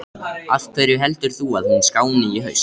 Af hverju heldur þú að hún skáni í haust?